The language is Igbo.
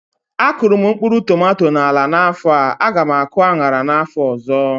A kụrụ m mkpụrụ tomato na ala a n'afọ a, a gá m akụ aṅara n'afọ ọzọ